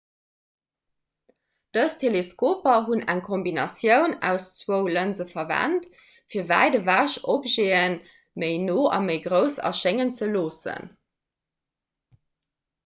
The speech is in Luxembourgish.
dës teleskoper hunn eng kombinatioun aus zwou lënse verwent fir wäit ewech objete méi no a méi grouss erschéngen ze loossen